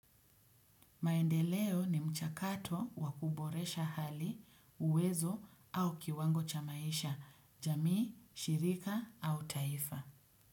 Maendeleo ni mchakato wa kuboresha hali, uwezo au kiwango cha maisha, jamii, shirika au taifa.